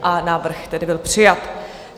A návrh tedy byl přijat.